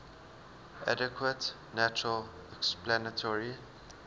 adequate natural explanatory